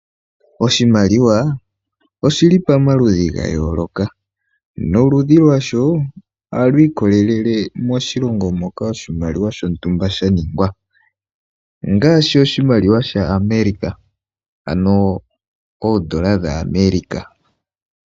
Oshimaliwa oshili pamaludhi ga yooloka, noludhi lwasho ohalu ikolelele moshilongo moka oshimaliwa shontumba shaningwa ngaashi, oshimaliwa shaAmerica ano oondola dhaAmerica.